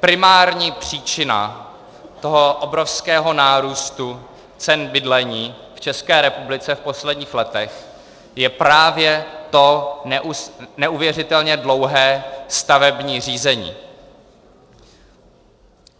primární příčina toho obrovského nárůstu cen bydlení v České republice v posledních letech je právě to neuvěřitelně dlouhé stavební řízení.